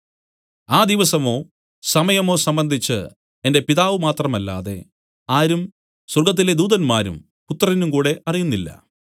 ആ ദിവസമോ സമയമോ സംബന്ധിച്ച് എന്റെ പിതാവ് മാത്രമല്ലാതെ ആരും സ്വർഗ്ഗത്തിലെ ദൂതന്മാരും പുത്രനും കൂടെ അറിയുന്നില്ല